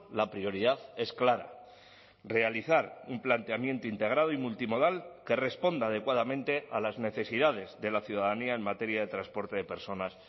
la prioridad es clara realizar un planteamiento integrado y multimodal que responda adecuadamente a las necesidades de la ciudadanía en materia de transporte de personas